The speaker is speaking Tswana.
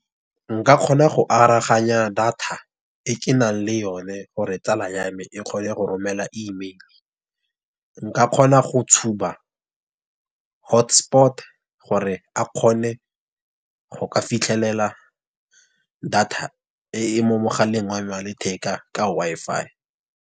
Nka kgona go araganya data e ke nang le yone gore tsala ya me e kgone go romela Email. Nka kgona go tshuba HotSpot gore a kgone go ka fitlhelela data e e mo mogaleng wa letheka ka Wi-Fi.